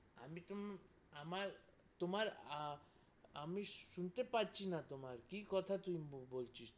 আমি তুম আমার তোমার আমি শুনতে পারছিনা তোমার কি কথা তুই বলছিস তুই?